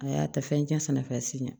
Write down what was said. A y'a ta fɛn tiɲɛnen fɛ si ɲɛ